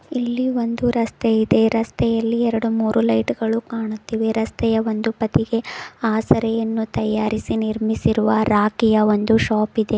ಇಲ್ಲಿ ಒಂದು ರಸ್ತೆ ಇದೆ ರಸ್ತೆಯಲ್ಲಿ ಎರಡು ಮೂರು ಲೈಟುಗಳು ಕಾಣುತ್ತಿವೆ ರಸ್ತೆಯ ಒಂದು ಬದಿಗೆ ಆಸರೆಯನ್ನು ತಯಾರಿಸಿ ನಿರ್ಮಿಸಿರುವ ರಾಖಿಯ ಒಂದು ಶಾಪ್ ಇದೆ.